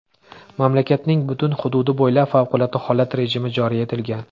Mamlakatning butun hududi bo‘ylab favqulodda holat rejimi joriy etilgan.